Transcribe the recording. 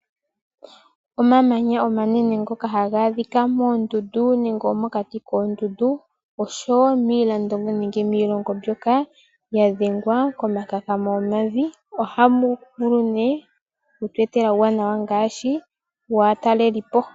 Omamanya omanene ngoka haga adhikwa moondundu nenge mokati koondundu oshowo miilando nenge miilongo mbyoka ya dhengwa komakakamo gomavi . Ohaga vulu oku tu etela uuwanawa ngaashi waatalelipo .